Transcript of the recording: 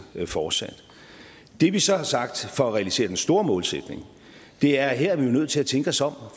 fortsat det vi så har sagt for at realisere den store målsætning er at her er vi nødt til at tænke os om